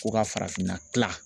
Ko ka farafinna kila.